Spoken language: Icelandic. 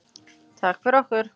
Takk fyrir okkur.